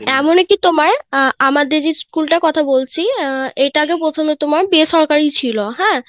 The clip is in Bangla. এমন কি তোমার, আহ আমাদের, school টার কথা বলছি আহ এটা আগে প্রথমে তোমার বেসরকারি ছিল হ্যাঁ.